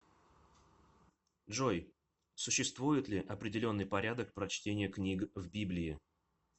джой существует ли определенный порядок прочтения книг в библии